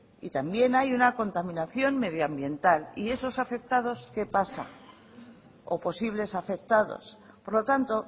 y también hay una contaminación medioambiental y con esos afectados qué pasa o posibles afectados por lo tanto